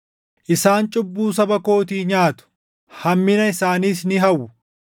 Isaan cubbuu saba kootii nyaatu; hammina isaaniis ni hawwu.